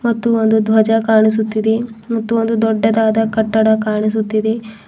ಮತ್ತು ಒಂದು ಧ್ವಜ ಕಾಣಿಸುತ್ತಿದೆ ಮತ್ತೊಂದು ದೊಡ್ಡದಾದ ಕಟ್ಟಡ ಕಾಣಿಸುತ್ತಿದೆ.